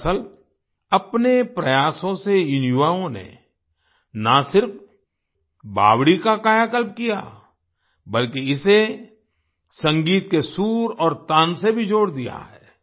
दरअसल अपने प्रयासों से इन युवाओं ने ना सिर्फ बावड़ी का कायाकल्प किया बल्कि इसे संगीत के सुर और तान से भी जोड़ दिया है